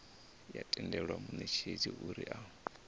ya tendela munetshedzi uri a